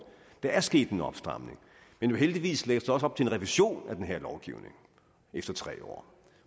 der er sket en opstramning men heldigvis lægges der også op til en revision af den her lovgivning efter tre år